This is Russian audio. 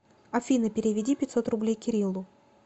афина переведи пятьсот рублей кириллу